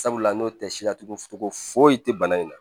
Sabula n'o tɛ si la togo togo foyi te bana in na